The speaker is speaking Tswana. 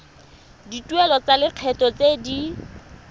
dituelo tsa lekgetho tse di